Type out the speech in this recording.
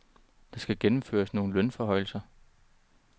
Der skal gennemføres nogle lønforhøjelser.